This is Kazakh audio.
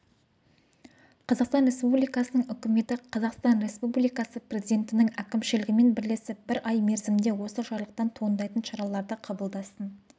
қазақстан республикасының үкіметі қазақстан республикасы президентінің әкімшілігімен бірлесіп бір ай мерзімде осы жарлықтан туындайтын шараларды қабылдасын